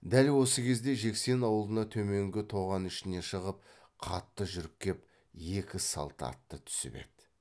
дәл осы кезде жексен аулына төменгі тоған ішіне шығып қатты жүріп кеп екі салт атты түсіп еді